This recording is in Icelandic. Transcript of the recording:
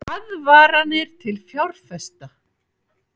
Aðvaranir til fjárfesta